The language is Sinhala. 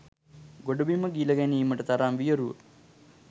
ගොඩබිම ගිල ගැනීමට තරම් වියරු ව